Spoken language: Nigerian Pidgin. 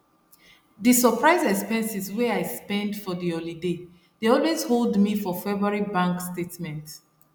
the surprise expenses wey i spend for the holiday dey always hold me for february bank statement